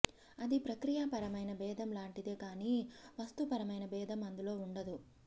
అది ప్రక్రియాపరమైన భేదం లాంటిదే కాని వస్తుపరమైన భేదం అందులో ఉండదు